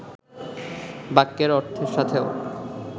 বাক্যের অর্থের সাথেও